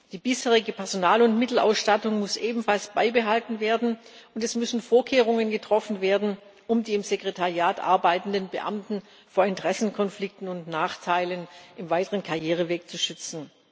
Die bisherige Personal und Mittelausstattung muss ebenfalls beibehalten werden, und es müssen Vorkehrungen getroffen werden, um die im Sekretariat arbeitenden Beamten vor Interessenkonflikten und Nachteilen im weiteren Karriereweg zu schützen.